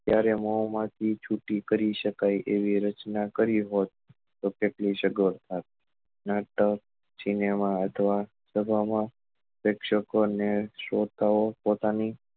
ત્યારે મોમાં થી છૂટી કરી સકાય એવી રચના કરી હોત તો કેટલી સગવડ થાત નાટક cinema અથવા પ્રક્ષકો ને શોધતા ઓ પોતાની